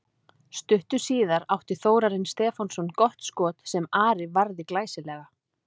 Stuttu síðar átti Þórarinn Stefánsson gott skot sem Ari varði glæsilega.